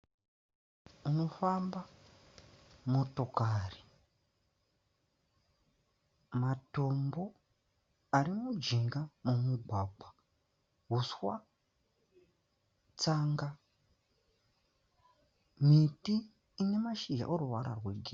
Panofamba motokari, matombo arimujinga momugwagwa, huswa, tsanga , miti inemashizha inemashizha eruvara rwegirini.